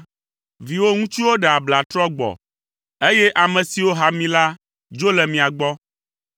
Viwò ŋutsuwo ɖe abla trɔ gbɔ, eye ame siwo ha mi la dzo le mia gbɔ.